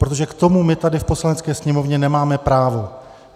Protože k tomu my tady v Poslanecké sněmovně nemáme právo.